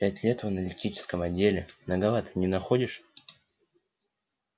пять лет в аналитическом отделе многовато не находишь